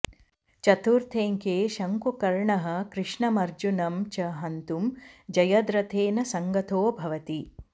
चतुर्थेऽङ्के शङ्कुकर्णः कृष्णमर्जुनं च हन्तुं जयद्रथेन सङ्गतो भवति